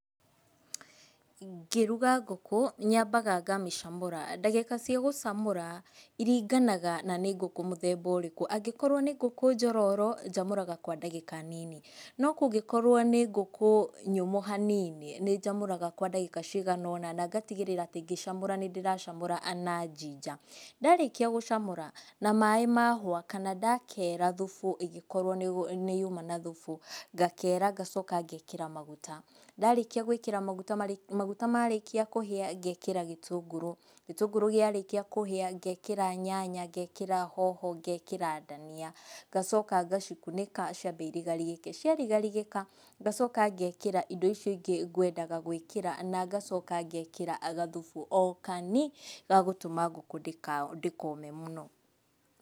Ngĩruga ngũkũ nyambaga ngamĩcamüra, ndagĩka cia gũcamũra ciringanaga na nĩ ngũkũ mũthemba ũrĩkũ, angĩkorwo nĩ ngũkũ njororo njamũraga kwa ndagĩka nini, no kũngĩkorwo nĩ ngũkũ nyũmũ hanini, nĩ njamũraga kwa ndagĩka cigana ũna, nangatigĩra ngĩcamũra nĩ ndĩracamũra na njinja, ndarĩkia gũcamũra na maĩ mahũa, kana ndakera thubu, ĩngĩkorwo nĩ nĩ nyuma na thubu, ngakera ngacoka ngekĩra maguta, ndarĩkia gũĩkĩra maguta, maguta marĩkia kũhĩa, ngekĩra gĩtũngũrũ, gĩtũngũrũ kĩarĩkia kũhĩa, ngekĩra nyanya, ngekĩra hoho, ngekĩra ndania, ngacoka ngacikunĩka ciabe irigarigĩke, ciarigarigĩka ngacoka ngekĩra indo icio ingĩ ngwendaga gwĩkĩra, na ngacoka ngekĩra gathubu o kani, gagũtũma ngũkũ ndĩka ndĩkome mũno.